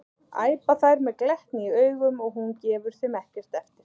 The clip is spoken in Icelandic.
æpa þær með glettni í augunum og hún gefur þeim ekkert eftir.